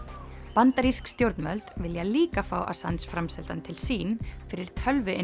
bandarísk stjórnvöld vilja líka fá Assange framseldan til sín fyrir